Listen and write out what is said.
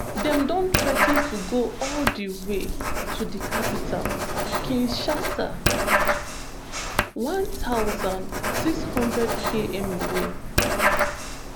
dem don threa ten to go all di way to di capital kinshasa um one thousand, six hundredkm away